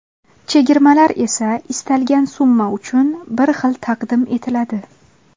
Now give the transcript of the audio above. Chegirmalar esa istalgan summa uchun bir xil taqdim etiladi.